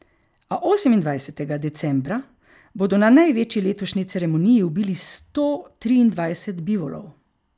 A osemindvajsetega decembra bodo na največji letošnji ceremoniji ubili sto triindvajset bivolov.